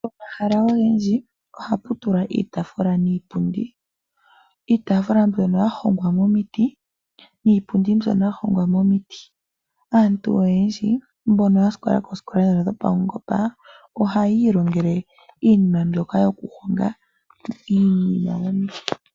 Pomahala ogendji ohapu tulwa iitafula niipundi ,iitafula mbyono ya hongwa momiti niipundi mbyono ya hongwa momiti aantu oyendji mbono ya sikola koosikola dhono dhopaungomba ohaa yi ilongele iinima mbyoka yoku honga iinima mbika.